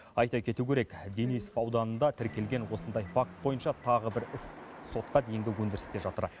айта кету керек денисов ауданында тіркелген осындай факт бойынша тағы бір іс сотқа дейінгі өндірісте жатыр